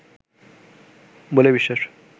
বলেই বিশ্বাস